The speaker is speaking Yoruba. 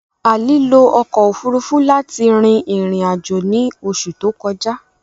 Ali lo ọkọ ofurufu lati rin irin-ajo ni oṣu to kọja.